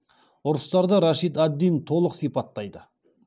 ұрыстарды рашид ад дин толық сипаттайды